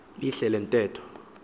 lidlile le ntetho